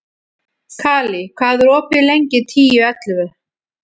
Kali, hvað er opið lengi í Tíu ellefu?